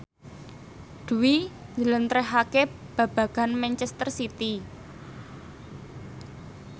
Dwi njlentrehake babagan manchester city